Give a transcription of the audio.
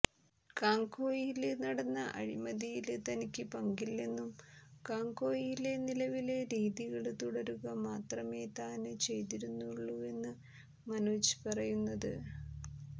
കാംകോയില് നടന്ന അഴിമതിയില് തനിക്ക് പങ്കില്ലെന്നും കാംകോയിലെ നിലവിലെ രീതികള് തുടരുക മാത്രമെ താന് ചെയ്തിരുന്നുവുള്ളുവെന്നുമാണ് മനോജ് പറയുന്നത്